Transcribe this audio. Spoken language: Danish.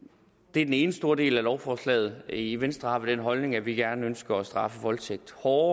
det er den ene stor del af lovforslaget i venstre har vi den holdning at vi gerne ønsker at straffe voldtægt hårdere